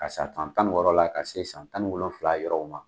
Ka san san tan ni wɔrɔ la ka se san tan ni wolonwula yɔrɔw ma.